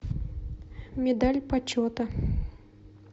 медаль почета